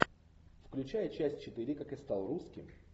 включай часть четыре как я стал русским